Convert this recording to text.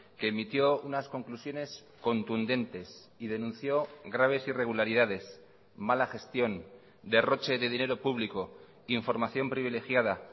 que emitió unas conclusiones contundentes y denunció graves irregularidades mala gestión derroche de dinero público información privilegiada